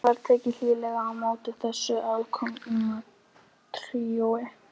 Var tekið hlýlega á móti þessu aðkomna tríói.